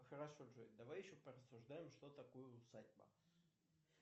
хорошо джой давай еще порассуждаем что такое усадьба